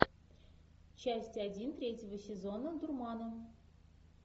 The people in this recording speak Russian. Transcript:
часть один третьего сезона дурмана